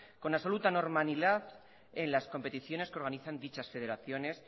con absoluta normalidad en las competiciones que organizan dichas federaciones